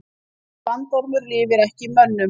Þessi bandormur lifir ekki í mönnum.